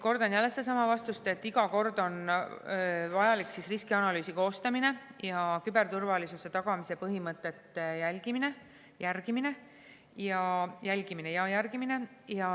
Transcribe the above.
" Kordan jälle sedasama vastust, et iga kord on vajalik riskianalüüsi koostamine ning küberturvalisuse tagamise põhimõtete jälgimine ja järgimine.